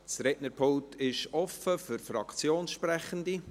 Das Rednerpult ist offen für Fraktionssprechende.